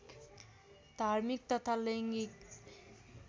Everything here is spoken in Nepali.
धार्मिक तथा लैङ्गिक